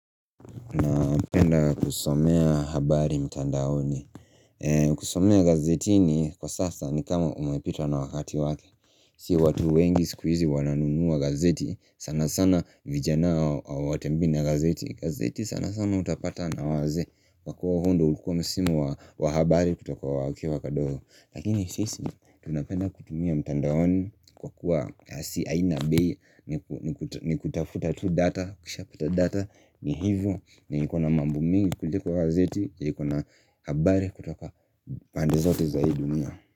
Napenda kusomea habari mtandaoni kusomea gazetini kwa sasa ni kama umepitwa na wakati wake Si watu wengi siku hizi wananunua gazeti sana sana vijana hawatembii na gazeti gazeti sana sana utapata na wazee kwa kuwa huo ndo ulikuwa msimu wa wa habari kutoka wa wakiwa wadogo Lakini sisi tunapenda kutumia mtandaoni Kwa kuwa kasi aina bei ni kutafuta tu data ukishapata data ni hivyo na ikona mambo mingi kuliko gazeti yenye iko na habari kutoka pande zote za hii dunia.